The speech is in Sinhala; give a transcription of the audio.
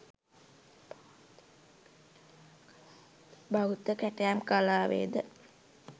බෞද්ධ කැටයම් කලාවේ ද